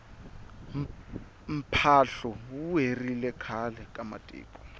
mphahlu wu herile khale ka matiko